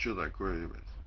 что такое ебать